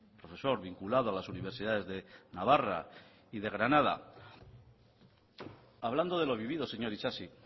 profesor vinculado a las universidades de navarra y de granada hablando de lo vivido señor isasi